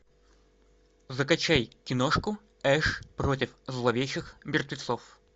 закачай киношку эш против зловещих мертвецов